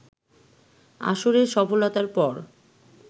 আসরের সফলতার পর